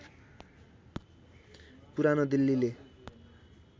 पुरानो दिल्लीले